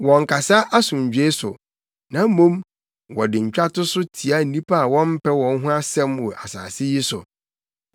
Wɔnnkasa asomdwoe so, na mmom, wɔde ntwatoso tia nnipa a wɔmpɛ wɔn ho asɛm wɔ asase yi so.